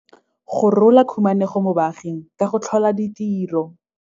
Go rola khumanego mo baaging ka go tlhola ditiro.